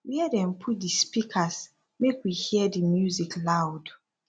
where dem put di speakers make we hear di music loud